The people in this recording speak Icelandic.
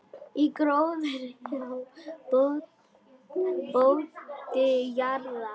Í gróðri á botni jarðar.